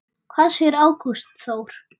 Hvað segir Ágúst Þór?